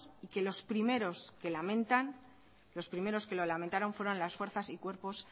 y que los primero que lo lamentaron fueron las fuerzas y cuerpos